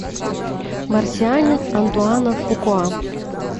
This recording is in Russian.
марсианин антуана фукуа